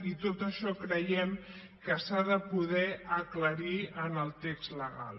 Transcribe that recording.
i tot això creiem que s’ha de poder aclarir en el text legal